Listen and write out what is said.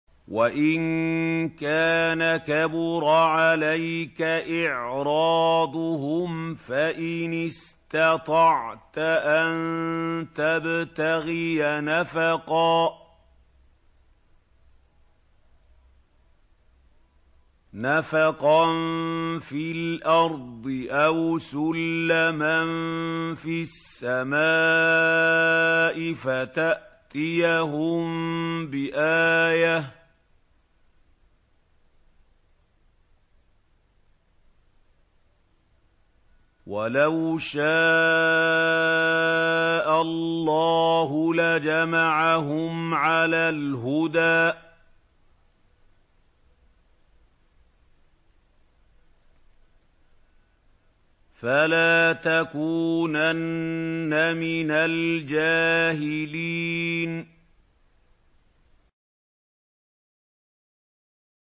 وَإِن كَانَ كَبُرَ عَلَيْكَ إِعْرَاضُهُمْ فَإِنِ اسْتَطَعْتَ أَن تَبْتَغِيَ نَفَقًا فِي الْأَرْضِ أَوْ سُلَّمًا فِي السَّمَاءِ فَتَأْتِيَهُم بِآيَةٍ ۚ وَلَوْ شَاءَ اللَّهُ لَجَمَعَهُمْ عَلَى الْهُدَىٰ ۚ فَلَا تَكُونَنَّ مِنَ الْجَاهِلِينَ